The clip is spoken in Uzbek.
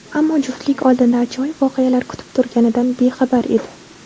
Ammo juftlik oldinda ajoyib voqealar kutib turganidan bexabar edi.